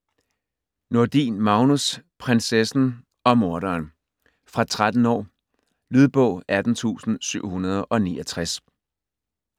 Nordin, Magnus: Prinsessen og morderen Fra 13 år. Lydbog 18769